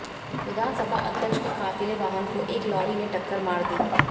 विधानसभा अध्यक्ष की काफिले वाहन को एक लॉरी ने टक्कर मार दी